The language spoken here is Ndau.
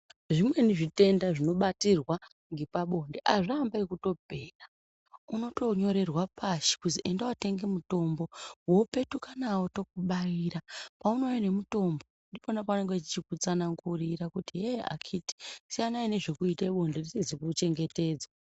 Zvimweni zvitenda zvinobatirwa ngepabonde azviambi ekutopera, unotonyorerwa pashi kuzi enda wotenge mutombo, wopetuka nawo tokubaira. Paunouya nemutombo ndipona pavanenge vachikutsanangurira kuti yeee akhiti siyanai nezvekuite bonde risizi kuchengetedzwa.